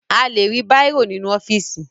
A lè rí bàírò nínú ọ́fíìsì